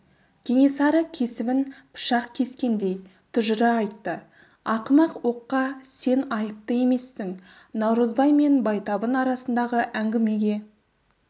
кенесары кесімін пышақ кескендей тұжыра айтты ақымақ оққа сен айыпты емессің наурызбай мен байтабын арасындағы әңгімеге